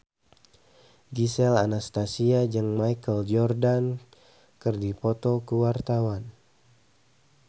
Gisel Anastasia jeung Michael Jordan keur dipoto ku wartawan